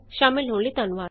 ਸ਼ਾਮਲ ਹੋਣ ਲਈ ਧੰਨਵਾਦ